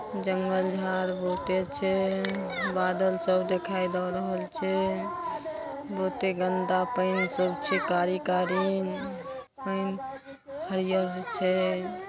जंगल झाड़ बहुते छै बादल सब देखाई द रहल छै बहुते गंदा पेएन सब छै कारी-कारी उम्म पेएन हरियर छै।